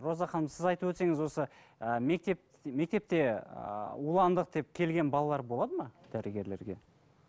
роза ханым сіз айтып өтсеңіз осы ыыы мектеп мектепте ыыы уландық деп келген балалар болады ма дәрігерлерге